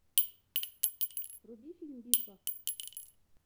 вруби фильм битва